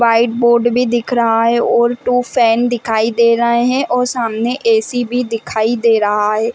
White board भी दिख रहा है और टू फैन दिखाई दे रहे हैं और सामने ए_सी भी दिखाई दे रहा है।